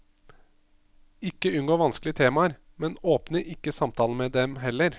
Ikke unngå vanskelige temaer, men åpne ikke samtalen med dem heller.